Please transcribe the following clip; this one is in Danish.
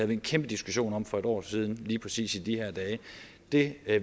vi en kæmpe diskussion om for et år siden lige præcis i de her dage det